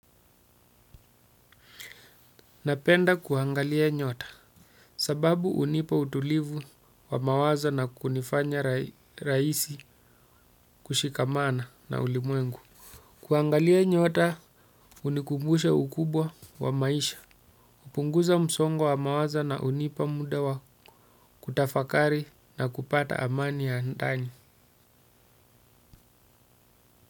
Napenda kuangalia nyota. Sababu hunipa utulivu wa mawazo na kunifanya rahisi kushikamana na ulimwengu. Kuangalia nyota hunikumbusha ukubwa wa maisha. Kupunguza msongo wa mawazo na hunipa muda wa kutafakari na kupata amani ya ndani.